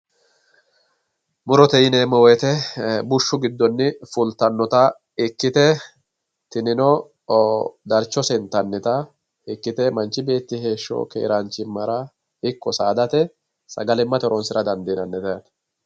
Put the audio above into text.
Murote yineemmo woyiite bushshu giddo fultannota ikkite tinino darchose intannita ikkite manchi beetti heeshsho keeraanchimmara ikko saadate sagalimmate horonsirate dndiinannite yaate.